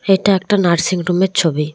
এটা একটা nursing room -এর ছবি।